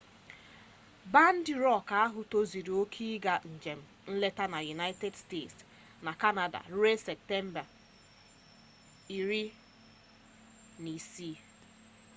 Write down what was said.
bandị rọk ahụ tozuru oke ịga njem nleta na united states na kanada ruo septemba 16